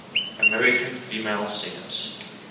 american female singers